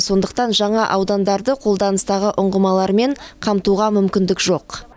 сондықтан жаңа аудандарды қолданыстағы ұңғымалармен қамтуға мүмкіндік жоқ